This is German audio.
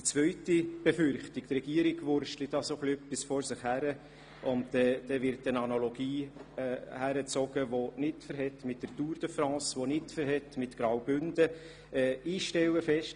Die zweite Befürchtung ist, dass die Regierung etwas vor sich hin wurstle, und dazu wird eine unangemessene Analogie mit der Tour de France und mit Graubünden herangezogen.